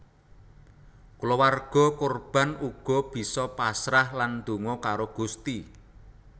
Kulawarga korban uga bisa pasrah lan donga karo Gusti